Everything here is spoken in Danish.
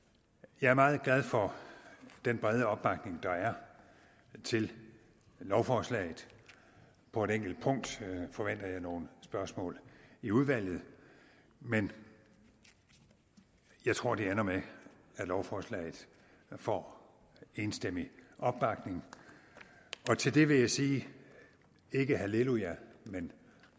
jeg er meget glad for den brede opbakning der er til lovforslaget på et enkelt punkt forventer jeg nogle spørgsmål i udvalget men jeg tror det ender med at lovforslaget får enstemmig opbakning og til det vil jeg sige ikke halleluja